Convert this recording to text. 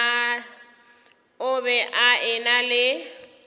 o be a ena le